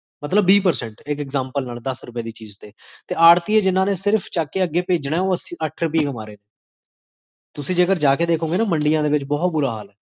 ਜ੍ਕ੍ਬ੍ਜਿਕ